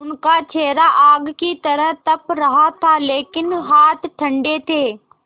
उनका चेहरा आग की तरह तप रहा था लेकिन हाथ ठंडे थे